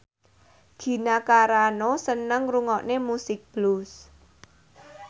Gina Carano seneng ngrungokne musik blues